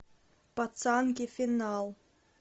пацанки финал